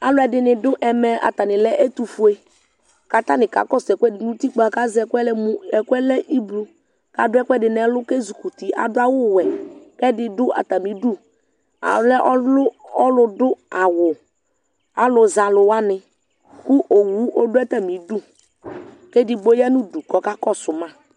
aloɛdini do ɛmɛ atani lɛ ɛtofue k'atani ka kɔsu ɛkoɛdi no utikpa k'azɛ ɛkoɛ lɛ mo ɛkoɛ lɛ ublɔ k'ado ɛkoɛdi n'ɛlu k'ezukuti ado awu wɛ k'ɛdi do atami du ɔlɛ ɔlò do awu alo zɛ alo wani kò owu ɔdo atami du k'edigbo ya n'udu k'ɔka kɔsu ma